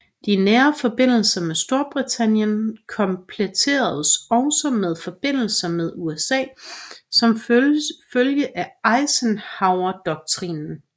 De nære forbindelser med Storbritannien kompletteredes også med forbindelser med USA som følge af Eisenhowerdoktrinen